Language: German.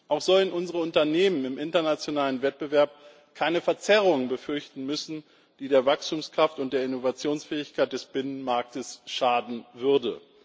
Auch sollen unsere Unternehmen im internationalen Wettbewerb keine Verzerrungen befürchten müssen, die der Wachstumskraft und der Innovationsfähigkeit des Binnenmarktes schaden würden.